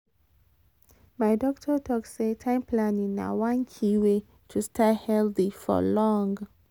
my doctor talk say time planning na one key way to stay healthy for long.